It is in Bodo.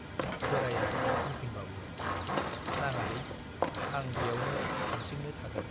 बोराइया बुंफिनबावो, नाङालै, आं ब्यावनो हार्सिंनो थागोन।